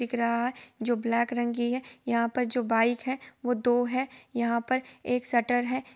Tempo दिख रहा है जो ब्लैक रंग का है| यहा पर जो बाइक है वो दो है| यहा पर एक शटर है।